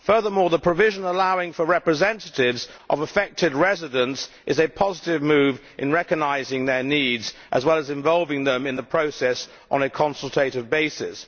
Furthermore, the provision allowing for representatives of affected residents is a positive move in recognising their needs, as well as involving them in the process on a consultative basis.